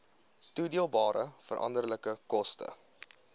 toedeelbare veranderlike koste